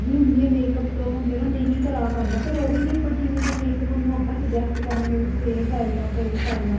ਹੁੰਦੀ ਏ makeup ਤੋ ਜਿਹੜਾ ਨਹੀਂ ਕਰਾਹ ਪਾਦਾ ਫ਼ੇਰ ਉਹਦੇ ਲਈ ਆਪਾਂ ਕਿਵੇਂ ਦਾ makeup ਉਹਨੂੰ ਆਪਾਂ suggest ਕਰਾਗੇ ਵੀ ਤੂੰ ਏ ਕਰਲੇ ਜਾਂ ਏ ਕਰਲੇ